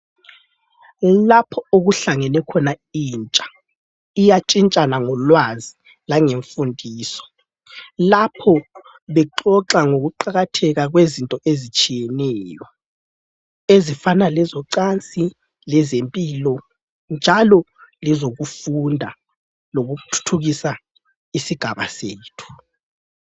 Lapho okuhlangene khona intsha iyatshintshana ngolwazi langemfundiso, lapho bexoxa ngokuqakatheka kwezinto ezitshiyeneyo ezifana lezocansi lezempilo njalo lezokufunda lokuthuthukisa isigaba sethu.